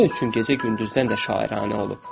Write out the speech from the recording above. Nə üçün gecə gündüzdən də şairanə olub?